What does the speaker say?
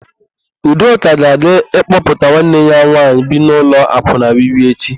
Udoka ga-aga ịkpọpụta nwanne ya nwaanyị bi n'ụlọ akwụna Wi-Wi echi.